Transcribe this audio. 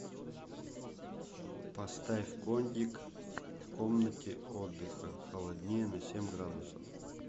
поставь кондик в комнате отдыха холоднее на семь градусов